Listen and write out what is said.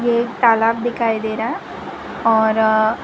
एक तालाब दिखाई दे रहा है और --